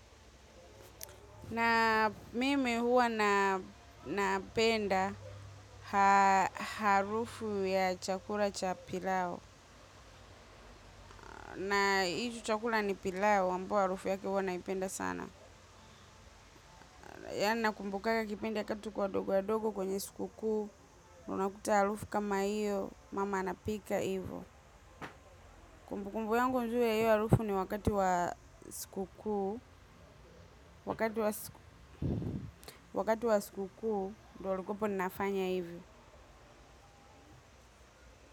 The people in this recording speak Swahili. Na mimi huwa napenda harufu ya chakula cha pilau. Na hicho chakula ni pilau, ambayo harufu yake huwa naipenda sana. Yani nakumbukaga kipindi wakati tuko wadogo wadogo kwenye sikukuu, unakuta harufu kama hiyo, mama anapika hivyo. Kumbukumbu yangu nzuri ya hiyo harufu ni wakati wa sikukuu, wakati wa sikukuu, ndo ulikuwepo nafanya hivyo.